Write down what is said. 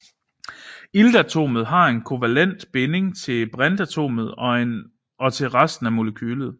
Iltatomet har en kovalent binding til brintatomet og en til resten af molekylet